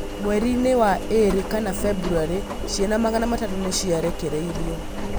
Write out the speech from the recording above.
Mweri-inĩ wa ĩrĩ kana february ciana magana matatũ nĩciarekereirio